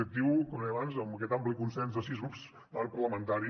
crec que com deia abans amb aquest ampli consens de sis grups de l’arc parlamentari